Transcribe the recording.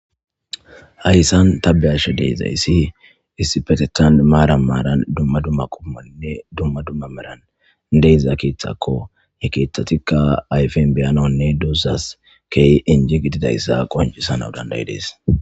hayssan tabeyasha deizayssi issipetethan maara maaran dumma dumma qummonne dumma dumma maran deiza keeththakko ye keeththatikka ayfen beyananne duuzas key inji gididayssa qoncisana dandayi dees